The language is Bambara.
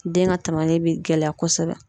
Den ka bi gɛlɛya kosɛbɛ